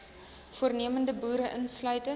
voornemende boere insluitend